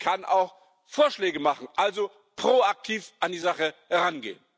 Man kann auch Vorschläge machen, also proaktiv an die Sache herangehen.